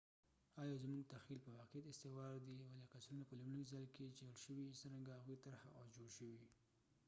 آیا زموږ تخیل په واقعیت استوار دي ولې قصرونه په لومړي ځای کې جوړ شوي څرنګه هغوۍ طرحه او جوړ شوي